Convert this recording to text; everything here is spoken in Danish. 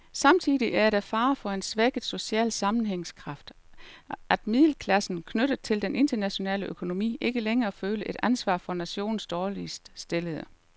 Samtidig er der fare for en svækket social sammenhængskraft, at middelklassen, knyttet til den internationale økonomi, ikke længere føler et ansvar for nationens dårligt stillede.